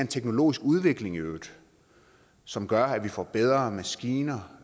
teknologisk udvikling som gør at vi får bedre maskiner